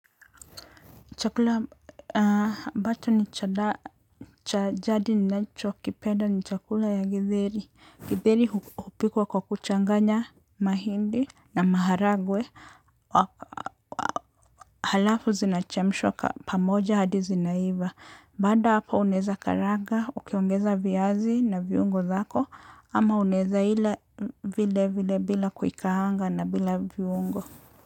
Chakula ambacho ni cha jadi, cha jadi ninachokipenda ni chakula ya githeri. Githeri hupikwa kwa kuchanganya mahindi na maharagwe. Halafu zinachemshwa pamoja hadi zinaiva. Baada hapo unaeza karanga, ukiongeza viazi na viungo zako, ama unaeza ila vile vile bila kuikaanga na bila viungo.